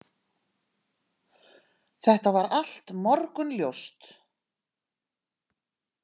Þetta var allt morgunljóst.